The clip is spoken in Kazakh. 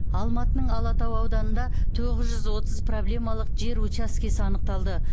алматының алатау ауданында тоғыз жүз отыз проблемалық жер учаскесі анықталды